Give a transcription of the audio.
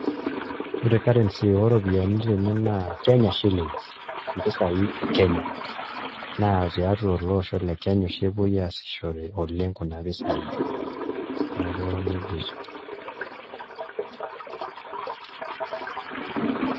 Ore karensi oo ropiyiani tene naa Kenyan Shillings mpisaai e Kenya naa tiatua ele osho le Kenya oshi epuo aasishore oleng' kuna pisaai, neeku nijia etiu.